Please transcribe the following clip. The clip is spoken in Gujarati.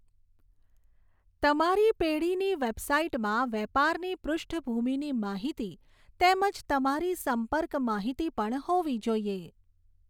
તમારી પેઢીની વેબસાઇટમાં વેપારની પૃષ્ઠભૂમિની માહિતી તેમજ તમારી સંપર્ક માહિતી પણ હોવી જોઈએ.